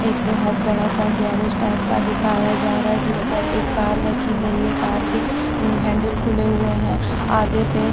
एक बहोत बड़ा सा गैरेज टाइप का दिखाया जा रहा है जिस पर एक कार रखी गई है कार के हैंडल खुले हुए हैं आगे पे।